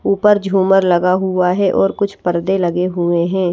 ऊपर झूमर लगा हुआ है और कुछ पर्दे लगे हुए हैं।